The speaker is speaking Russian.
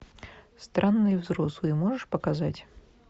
странные взрослые можешь показать